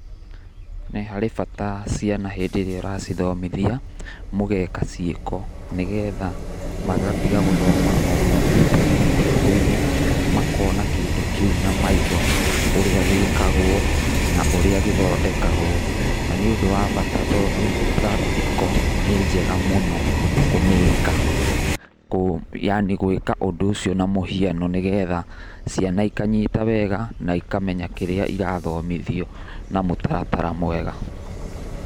Nĩ harĩ bata ciana hĩndĩ ĩrĩa ũracithomithia mũgeka ciĩko nĩgetha magatiga gũthoma o kombuita-inĩ na mabuku-inĩ makona kĩndũ kĩu na maitho ũrĩa gĩkagwo na ũrĩa gĩthodekagwo na nĩ ũndũ wa bata tondũ practical nĩ njega mũno kũmĩka, yaani gwĩka ũndũ ũcio na mũhiano nĩgetha ciana ikanyita wega na ikamenya kĩria irathomithio na mũtaratara mwega.